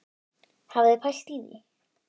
Hafið þið pælt í því?